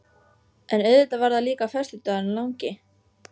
En auðvitað var það líka föstudagurinn langi.